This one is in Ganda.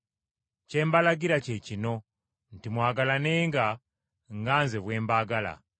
Kye mbalagira kye kino nti mwagalanenga nga Nze bwe mbaagala.